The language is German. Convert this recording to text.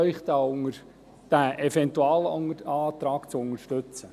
Ich bitte Sie, diesen Eventualantrag zu unterstützen.